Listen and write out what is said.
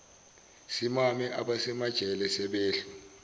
simame abasemajele sebehlu